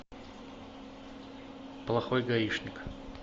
плохой гаишник